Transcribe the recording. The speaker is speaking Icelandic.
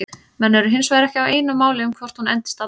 Menn eru hinsvegar ekki á einu máli um hvort hún endist alla ævi.